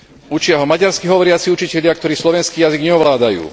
Učia ho maďarsky hovoriaci učitelia, ktorí slovenský jazyk neovládajú.